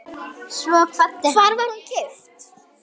Hvar var hún keypt?